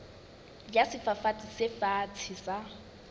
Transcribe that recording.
ya sefafatsi se fatshe sa